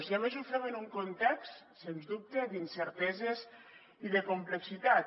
i a més ho fem en un context sens dubte d’incerteses i de complexitat